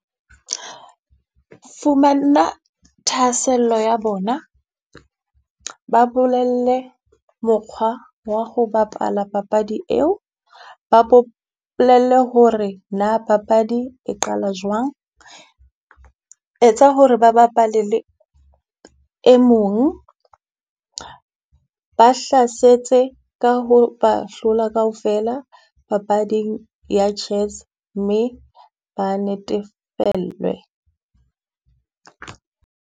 Fumana thahasello ya bona, ba bolelle mokgwa wa ho bapala papadi eo. Ba bolelle ho re na papadi e qala jwang. Etsa ho re ba bapale le e mong ba hlasetse ka ho ba hlola kaofela papading ya chess mme ba netefellwe.